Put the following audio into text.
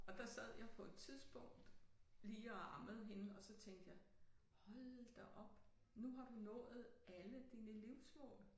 Og der sad jeg på et tidspunkt lige og ammede hende og så tænkte jeg hold da op nu har du nået alle dine livsmål